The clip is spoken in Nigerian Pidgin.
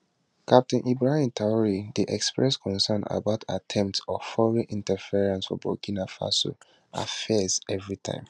captain ibrahim traor dey express concern about attempts of foreign interference for burkina faso affairs evritime